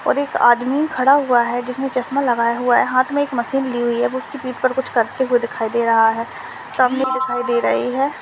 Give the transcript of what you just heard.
और एक आदमी खडा हुआ है उसने चष्मा लगाया हुआ है हाथ में एक मशीन ली हुई है उसकी पीठ पर कुछ करते हुए दिखाई दे रहा है सामने दिखाई दे रही है।